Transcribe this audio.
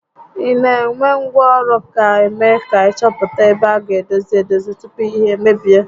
Ị nenengwa ọrụ ga eme ka ị chọpụta ebe a gá edozi edozi tupu ihe emebie